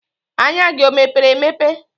Anya gị o mepere emepe?